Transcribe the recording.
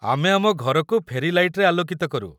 ଆମେ ଆମ ଘରକୁ ଫେରୀ ଲାଇଟ୍‌ରେ ଆଲୋକିତ କରୁ ।